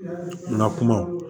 N ka kumaw